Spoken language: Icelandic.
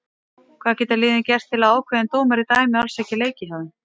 Hvað geta liðin gert til að ákveðin dómari dæmi alls ekki leiki hjá þeim?